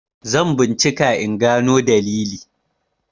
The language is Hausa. zan bincika in gano dalili!